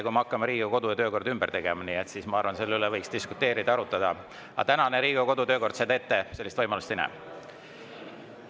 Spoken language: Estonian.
Kui me hakkame Riigikogu kodu‑ ja töökorda ümber tegema, siis ma arvan, et selle üle võiks diskuteerida, arutada, aga tänane Riigikogu kodu‑ ja töökord sellist võimalust ette ei näe.